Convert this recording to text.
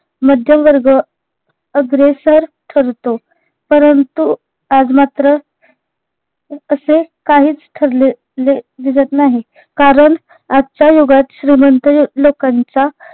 मध्यमवर्ग अग्रेसर ठरतो परंतु आज मात्र असे काहीच ठरले ले दिसत नाही कारण आजच्या युगात श्रीमंत यू लोकांचा